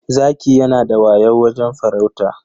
Zaki yanada wayau wajen farauta.